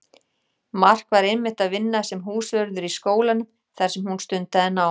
Mark var einmitt að vinna sem húsvörður í skólanum þar sem hún stundaði nám.